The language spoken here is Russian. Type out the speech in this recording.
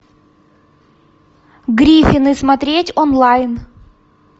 гриффины смотреть онлайн